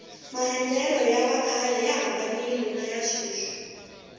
maendlelo ya vakhale ya hambanile niya sweswi